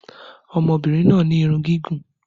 Ọmọbìnrin náà ní irun gígùn